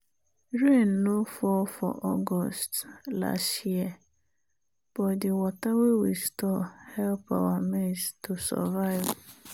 rain no fall for august last year but the water wey we store help our maize to survive.